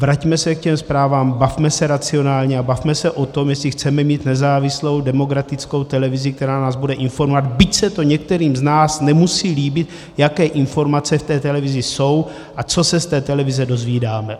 Vraťme se k těm zprávám, bavme se racionálně a bavme se o tom, jestli chceme mít nezávislou demokratickou televizi, která nás bude informovat, byť se to některým z nás nemusí líbit, jaké informace v té televizi jsou a co se z té televize dozvídáme.